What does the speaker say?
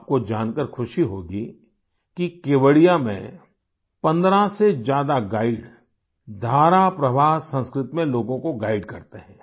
आपको जानकर खुशी होगी कि केवड़िया में 15 से ज्यादा गाइड धारा प्रवाह संस्कृत में लोगों को गाइड करते हैं